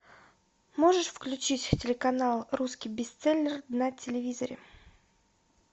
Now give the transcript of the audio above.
можешь включить телеканал русский бестселлер на телевизоре